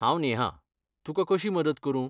हांव नेहा, तुकां कशी मदत करूं?